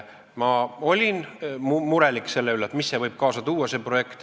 Ma olin murelik selle üle, mis see projekt võib kaasa tuua.